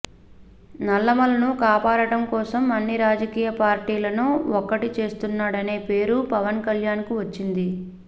నల్లమలను కాపాడటం కోసం అన్ని రాజకీయ పార్టీలను ఒక్కటి చేస్తున్నాడనే పేరు పవన్ కళ్యాణ్ కు వచ్చింది